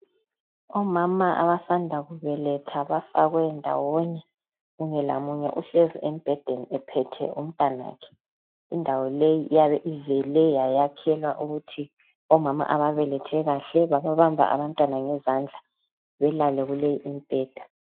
Omama abasanda kubeletha bafakwe ndawonye munye lamunye uhlezi embhedeni ephethe umntanakhe indawo leyi iyabe ivele yayakhelwa ukuthi omama ababelethe kahle babamba abantwana ngezandla belale kule imibheda.